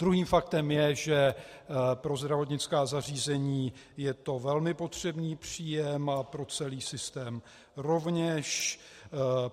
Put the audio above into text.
Druhým faktem je, že pro zdravotnická zařízení je to velmi potřebný příjem a pro celý systém rovněž.